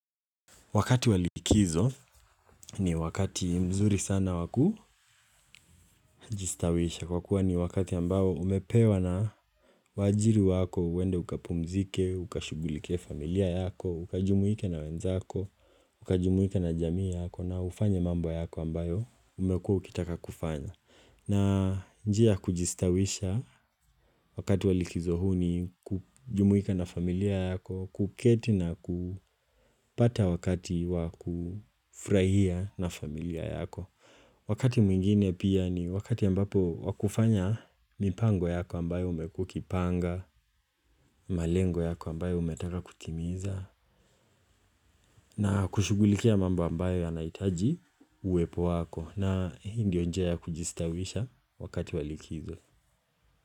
Wakati wa likizo ni wakati mzuri sana waku jistawisha kwa kuwa ni wakati ambao umepewa na waajiri wako uende ukapumzike, ukashugulikie familia yako, ukajumuike na wenzako, ukajumuike na jamii yako na ufanye mambo yako ambayo umekua ukitaka kufanya. Na njia ya kujistawisha wakati wa likizo huu ni kujumuika na familia yako, kuketi na kupata wakati wakufurahia na familia yako. Wakati mwingine pia ni wakati ambapo wakufanya mipango yako ambayo umekua ukipanga, malengo yako ambayo umetaka kutimiza. Na kushughulikia mambo ambayo yanahitaji uwepo wako na hii ndio njia ya kujistawisha wakati wa likizo.